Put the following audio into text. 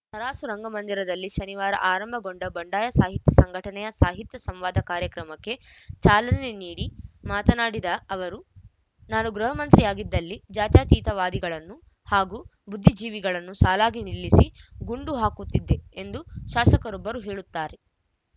ತರಾಸು ರಂಗಮಂದಿರದಲ್ಲಿ ಶನಿವಾರ ಆರಂಭಗೊಂಡ ಬಂಡಾಯ ಸಾಹಿತ್ಯ ಸಂಘಟನೆಯ ಸಾಹಿತ್ಯ ಸಂವಾದ ಕಾರ್ಯಕ್ರಮಕ್ಕೆ ಚಾಲನೆ ನೀಡಿ ಮಾತನಾಡಿದ ಅವರು ನಾನು ಗೃಹಮಂತ್ರಿಯಾಗಿದ್ದಲ್ಲಿ ಜಾತ್ಯತೀತವಾದಿಗಳನ್ನು ಹಾಗೂ ಬುದ್ದಿಜೀವಿಗಳನ್ನು ಸಾಲಾಗಿ ನಿಲ್ಲಿಸಿ ಗುಂಡು ಹಾಕುತ್ತಿದ್ದೆ ಎಂದು ಶಾಸಕರೊಬ್ಬರು ಹೇಳುತ್ತಾರೆ